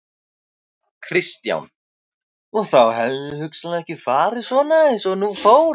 Kristján: Og þá hefði hugsanlega ekki farið svona eins og nú fór?